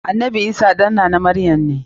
Annanbi Isah ɗan nana maryam ne.